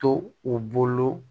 To u bolo